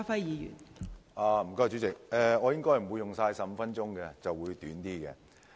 代理主席，我應該不會用盡15分鐘。